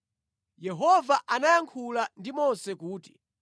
Yehova anayankhula ndi Mose kuti,